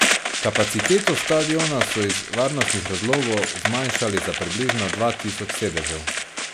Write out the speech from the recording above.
Kapaciteto stadiona so iz varnostnih razlogov zmanjšali za približno dva tisoč sedežev.